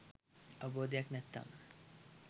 අවබෝධයක් නැත්නම්